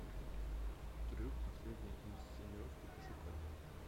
трюк последняя инсценировка пошукай